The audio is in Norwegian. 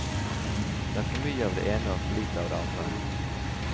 Det er for mye av det ene og for lite av det andre.